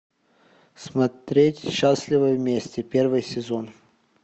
смотреть счастливы вместе первый сезон